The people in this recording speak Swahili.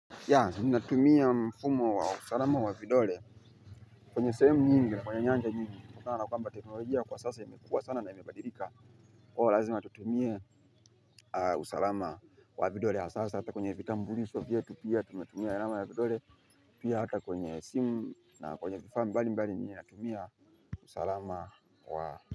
Ya, minatumia mfumo wa usalama wa vidole kwenye sahemu nyingi na kwenye nyanja nyingi unaoa kwamba teknolojia kwaa sasa imekua sana na imepadilika kwa hiyo, lazima tutumie usalama wa vidole hasa hata kwenye vitambulisho vyetu pia tunatumia alama ya vidole. Pia hata kwenye simu na kwenye vifa mbali mbali minatumia usalama wa.